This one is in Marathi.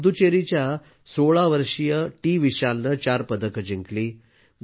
पुद्दुचेरीच्या 16 वर्षीय टीविशालने चार पदके जिंकली